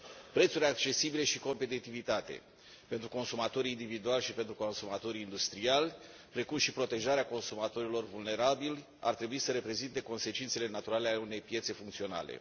Prețurile accesibile și competitivitatea pentru consumatorii individuali și pentru consumatorii industriali, precum și protejarea consumatorilor vulnerabili ar trebui să reprezinte consecințele naturale ale unei piețe funcționale.